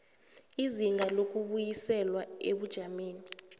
izinga lokubuyiselwa ebujameni